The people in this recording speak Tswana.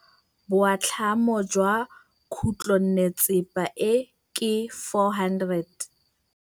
Boatlhamô jwa khutlonnetsepa e, ke 400.